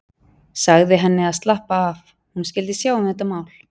Sagði henni að slappa af, hún skyldi sjá um þetta mál.